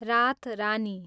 रातरानी